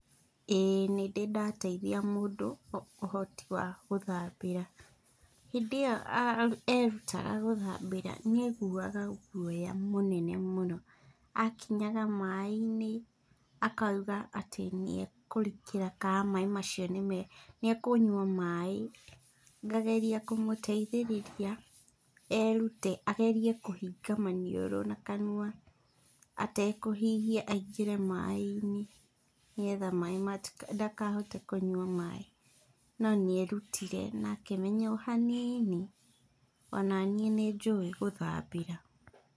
Ĩĩ nĩndĩ ndateithia mũndũ ũhoti wa gũthambĩra. Hĩndĩ ĩo, erutaga gũthambĩra, nĩeiguaga guoya mũnene mũno. Akinyaga maĩ-inĩ akauga atĩ nĩekũrikĩra kana macio nĩme, nĩekũnyua maĩ. Ngageria kũmũteithĩrĩria erute, agerie kũhinga maniũrũ na kanua, atekũhihia aingĩre maĩ-inĩ nĩgetha maĩ ndakahote kũnyua maĩ. No nĩerutire na akĩmenya o hanini, onaniĩ nĩnjũĩ gũthambĩra.